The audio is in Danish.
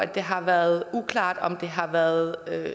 det har været uklart om det har været